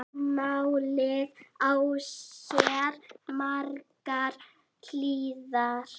Málið á sér margar hliðar.